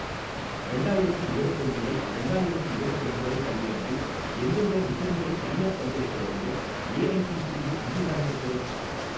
ரெண்டாயிரத்தி இரவத்தொன்னு முதல் ரெண்டாயிரத்தி இரவத்திரண்டு வரை கல்வியாண்டில் எந்தெந்த நிகர்நிலை தனியார் பல்கலைக்கழகங்கள் ஏஐஸிடிஇ அங்கீகாரம் பெற்றவை?